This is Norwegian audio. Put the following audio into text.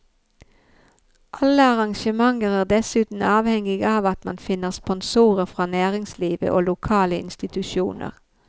Alle arrangementer er dessuten avhengig av at man finner sponsorer fra næringslivet og lokale institusjoner.